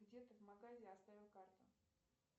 где то в магазе оставил карту